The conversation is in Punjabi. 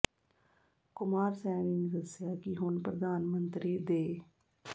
ਕੁਮਾਰ ਸੈਣੀ ਨੇ ਦੱਸਿਆ ਕਿ ਹੁਣ ਪ੍ਰਧਾਨ ਮੰਤਰੀ ਦੇ